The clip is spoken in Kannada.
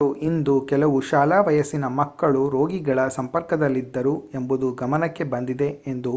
ರಾಜ್ಯಪಾಲರು ಇಂದು ಕೆಲವು ಶಾಲಾ ವಯಸ್ಸಿನ ಮಕ್ಕಳು ರೋಗಿಗಳ ಸಂಪರ್ಕದಲ್ಲಿದ್ದರು ಎಂಬುದು ಗಮನಕ್ಕೆ ಬಂದಿದೆ ಎಂದು